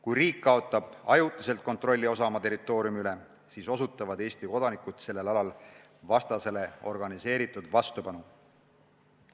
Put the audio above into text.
Kui riik kaotab ajutiselt kontrolli osa oma territooriumi üle, siis osutavad Eesti kodanikud sellel alal vastasele organiseeritud vastupanu.